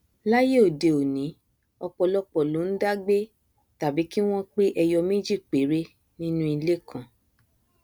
láíyé òde òní ọpọlọpọ ló ndá gbé tàbí kí wọn pé ẹyọ méjì péré nínú ilé kan